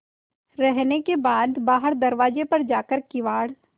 रहने के बाद बाहर दरवाजे पर जाकर किवाड़